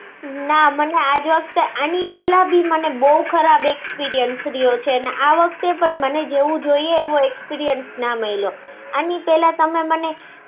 ના મને આ જ વખતે અને એની પેલા પણ બહુ ખરાબ experience રહ્યો છે અને આ વખતે પણ મને જેવો જોઈએ એવો experience ના મલ્યો. અને પેલા તમે મને